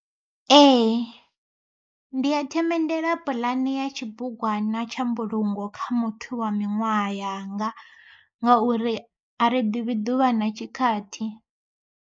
Ee ndi a themendela puḽane ya tshibugwana tsha mbulungo kha muthu wa miṅwaha yanga, ngauri a ri ḓivhi ḓuvha na tshikhathi.